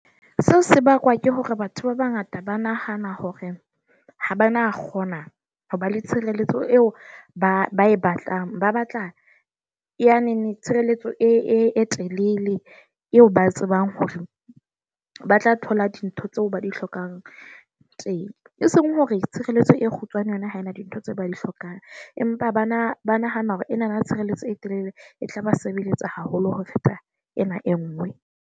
Seo se bakwa ke hore batho ba bangata ba nahana hore ha ba na kgona ho ba le tshireletso eo ba ba e batlang. Ba batla ya neng tshireletso e telele eo ba tsebang hore ba tla thola dintho tseo ba di hlokang teng, eseng hore tshireletso e kgutshwane yona ha e na dintho tse ba di hlokang. Empa bana ba nahana hore enana tshireletso e telele e tlaba sebeletsa haholo ho feta ena e nngwe